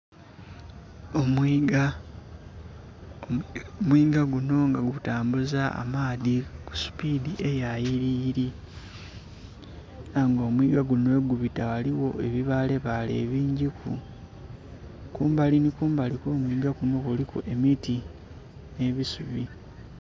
Omwiiga, omwiiga guno nga gutambuza amaadhi kusupidi eya yiriyiri era nga omwiiga guno ghe gubita ghaligho ebibaale baale ebingi ku kumbali ni kumbali okw'omwiga kuno kuliku emiti n'ebisubi.